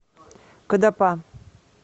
кадапа